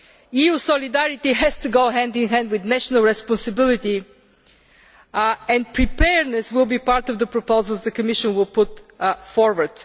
EU solidarity has to go hand in hand with national responsibility, and preparedness will be part of the proposals the Commission will put forward.